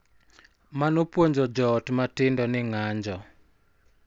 Mano puonjo jo ot matindo ni ng�anjo,